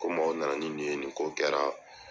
Kom'aw nana ni nin ye nin ko kɛra.